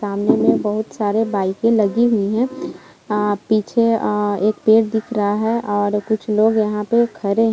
सामने में बहुत सारे बाइकें लगी हुई है अ पीछे अ एक पेड़ दिख रहा है और कुछ लोग यहां पे खड़े --